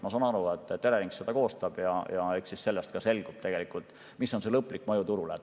Ma saan aru, et Elering seda koostab, ja eks sellest ka selgub, milline on lõplik mõju turule.